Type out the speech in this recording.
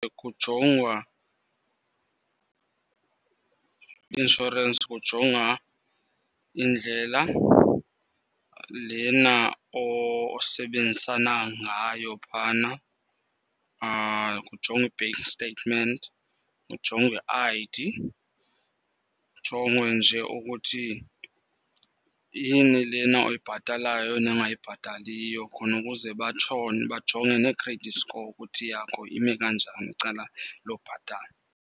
Kujongwa inshorensi, kujongwa indlela lena osebenzisana ngayo phana. Kujongwe i-bank statement, kujongwe i-I_D. Kujongwe nje ukuthi yini lena oyibhatalayo nongayibhataliyo khona ukuze batshone, bajonge ne-credit score ukuthi yakho ime kanjani kwicala lobhatala.